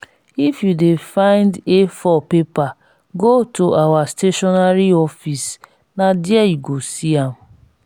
if you dey find a4 paper go to our stationery office na there you go see am